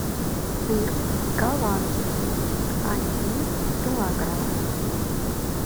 сыр голландский один килограмм